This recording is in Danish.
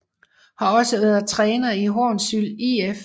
Har også været træner i Hornsyld IF